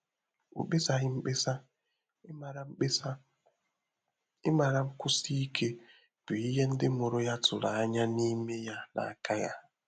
Ọ́ mkpésàghi mkpesa, ị́màrà mkpesa, ị́màrà nkwụ́sí íké bụ́ ìhè ndị́ mụ́rụ̀ yá tụ́rụ̀ ányá n’ímé yá n’áká yá.